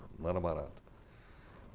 Não era barato.